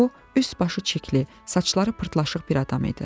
Bu üstbaşı çirkli, saçları pırtlaşıq bir adam idi.